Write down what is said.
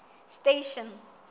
station